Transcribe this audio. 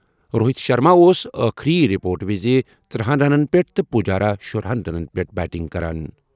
روہِت شرما اوس ٲخٕری رپورٹہٕ وِزِ ترٕہنَ رنن پیٹھ تہٕ پجارا شُراہنَ رنن پیٹھ بیٹنگ کران۔